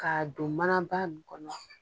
Ka don maba dɔ kɔnɔ